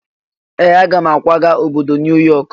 Ee! Aga m akwaga obodo New York.